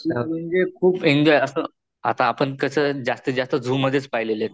आत्ता आपण कस जास्तीत जास्त झू मधेच पाहिलेलेत